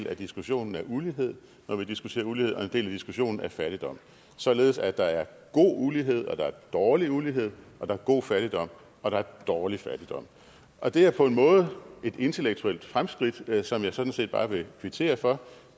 af diskussionen af ulighed når vi diskuterer ulighed og en del af diskussionen af fattigdom således at der er god ulighed og der er dårlig ulighed og der er god fattigdom og der er dårlig fattigdom og det er på en måde et intellektuelt fremskridt som jeg sådan set bare vil kvittere for